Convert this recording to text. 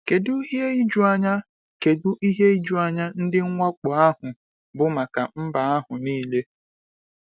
Kedu ihe ijuanya Kedu ihe ijuanya ndị mwakpo ahụ bụ maka mba ahụ niile!